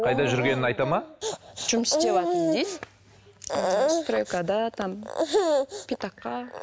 қайда жүргенін айтады ма жұмыс істеватырмын дейді стройкада там питакқа